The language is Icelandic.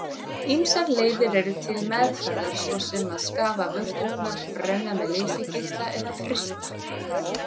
Ýmsar leiðir eru til meðferðar svo sem að skafa vörturnar, brenna með leysigeisla eða frysta.